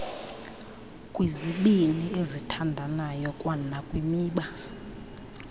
kwizibini ezithandayo kwanakwimiba